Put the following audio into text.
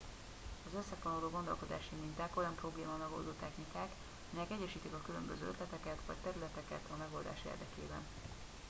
az összefonódó gondolkodási minták olyan problémamegoldó technikák melyek egyesítik a különböző ötleteket vagy területeket a megoldás érdekében